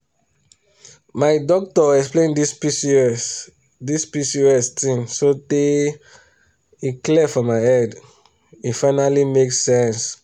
my doctor explain this pcos this pcos thing sotay e clear for my head e finally make sense.